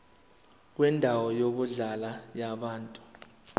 kwendawo yokuhlala yabantu